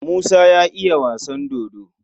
Musa ya iya wasan dodo.